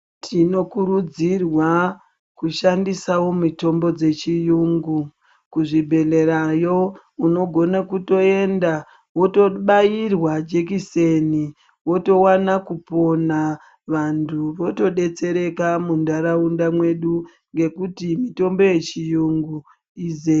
Tinokurudzirwa kushandisawo mitombo dzechiyungu, kuzvibhehlerayo unogona kutoenda wotobairwa jekiseni wotowana kupona vantu votodetsereka muntaraunda mwedu nekuti mitombo yechiyungu izere.